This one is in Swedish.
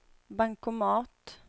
bankomat